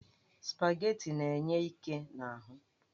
Spaghetti na-enye íké n'ahụ.